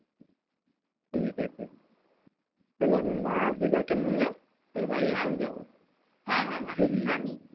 ঠিকাছে তাহলে আমি মা আর দিদাকে নিয়ে তোর বাড়ি একদিন যাবো